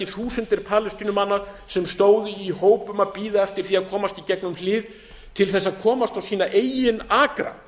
þúsundir palestínumanna sem stóðu í hópum að bíða eftir því að komast í gegnum hlið til þess að komast á sína eigin akra